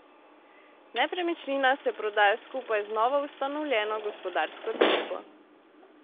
Nepremičnina se prodaja skupaj z novoustanovljeno gospodarsko družbo.